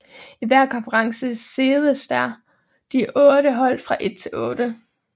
I hver konference seededes de otte hold fra 1 til 8